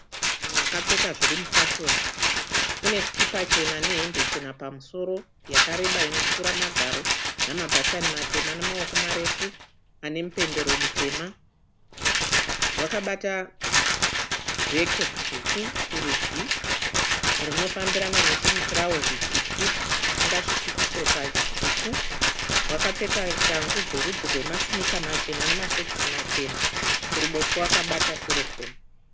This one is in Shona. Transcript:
Munhunhu akapfeka zvirimufashoni unesikipa chena nehembe chena pamusoro yakareba inopfura magaro nemabhatani matema namaoko marefu anemupendero mutema, wakabata bheki dzvuku kuruji rinofambirana nechimutirauzi chipfupi chisingasviki kutsoka chitsvuku wakapfeka shangu dzerudzi rwemasinika machena nemasokisi machena. Kuruboshwe wakabata serofoni.